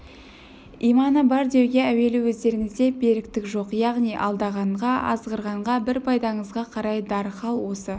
иманы бар деуге әуелі өздеріңізде беріктік жоқ яғни алдағанға азғырғанға бір пайдаңызға қарай дархал осы